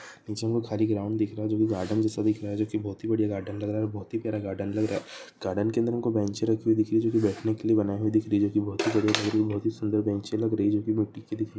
पीछे एक खली ग्राउंड दिख रहा है जो की बहोत ही बढ़िया गार्डन लग रहा है जो की बहुत ही प्यारा गार्डन लग रहा है गार्डन में हमें अंदर बहुत साडी ब्रांच दिख रही है जो की बैठने के लिए बनाई गई है जोगी बहुत ही सुंदर ब्रांच लग रही है